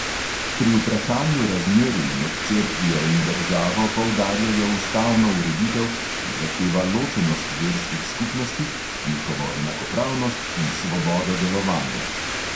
Pri vprašanju razmerij med cerkvijo in državo poudarjajo ustavno ureditev, ki zahteva ločenost verskih skupnosti, njihovo enakopravnost in svobodo delovanja.